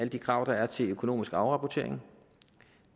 de krav der er til økonomisk afrapportering